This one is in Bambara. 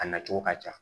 A na cogo ka ca